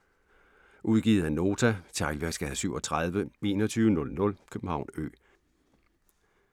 Udgivet af Nota Teglværksgade 37 2100 København Ø